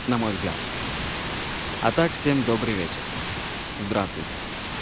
на мой взгляд а так всем добрый вечер здравствуйте